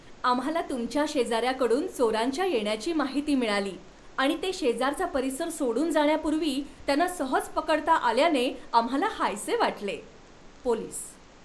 आम्हाला तुमच्या शेजाऱ्याकडून चोरांच्या येण्याची माहिती मिळाली आणि ते शेजारचा परिसर सोडून जाण्यापूर्वी त्यांना सहज पकडता आल्याने आम्हाला हायसे वाटले. पोलीस